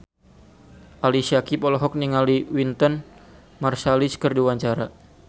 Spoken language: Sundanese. Ali Syakieb olohok ningali Wynton Marsalis keur diwawancara